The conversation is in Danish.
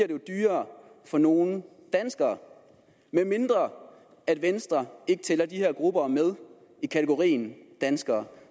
dyrere for nogle danskere medmindre venstre ikke tæller de her grupper med i kategorien danskere